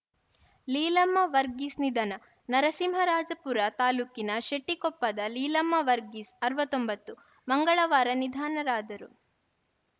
ಲೀಲಮ್ಮ ವರ್ಗೀಸ್‌ ನಿಧನ ನರಸಿಂಹರಾಜಪುರ ತಾಲೂಕಿನ ಶೆಟ್ಟಿಕೊಪ್ಪದ ಲೀಲಮ್ಮ ವರ್ಗೀಸ್‌ ಅರವತ್ತ್ ಒಂಬತ್ತು ಮಂಗಳವಾರ ನಿಧನರಾದರು